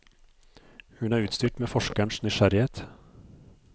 Hun er utstyrt med forskerens nysgjerrighet.